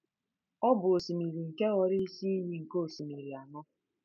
Ọ bụ osimiri nke ghọrọ isi iyi nke osimiri anọ.